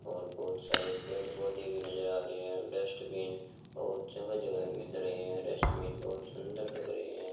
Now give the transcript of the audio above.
और बहोत सारे पेड़ पोधै भी नजर आ रहे हैं डस्टबिन बहोत जगह जगह नजर आ रहे हैं डस्टबिन बहोत सुंदर लग रहे हैं।